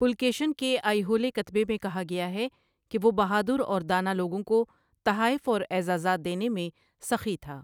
پُلکیشن کے آئیہولے کتبے میں کہا گیا ہے کہ وہ 'بہادر اور دانا لوگوں کو تحائف اور اعزازات دینے' میں سخی تھا۔